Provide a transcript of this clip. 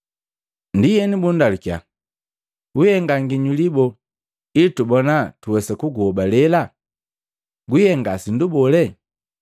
Ndienu bundalukiya, “Wiihenga nginyuli boo ili tubona tuwesa kuguhobalela? Gwihenga sindu bole?